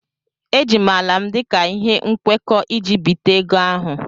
Eji m ala m dị ka ihe nkwekọ iji bité ego ahụ.